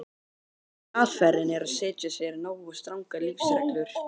Aðferðin er að setja sér nógu strangar lífsreglur.